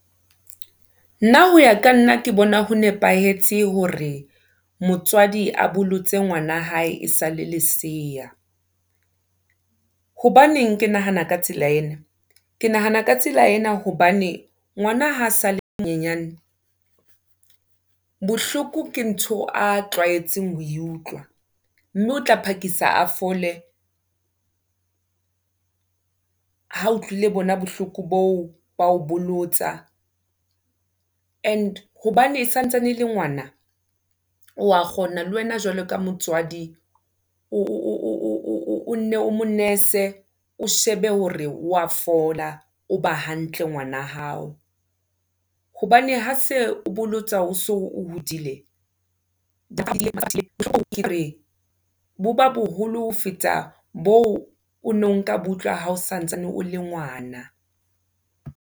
Nna ho ya ka nna ke bona ho nepahetse hore motswadi a bolotse ngwana hae esale lesiya. Hobaneng ke nahana ka tsela ena, ke nahana ka tsela ena hobane ngwana ha sale le monyenyane, bohloko ke ntho a tlwaetseng ho e utlwa mme o tla phakisa a fole, ha utlwile bona bohloko boo ba ho bolotsa. And hobane e santsane e le ngwana, o wa kgona le wena jwalo ka motswadi o ne o monese, o shebe hore wa fola, o ba hantle ngwana hao. Hobane ha se o bolotsa o so hodile , ke reng bo ba boholo ho feta boo ono nka bo utlwa hao santsane o le ngwana.